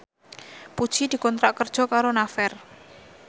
Puji dikontrak kerja karo Naver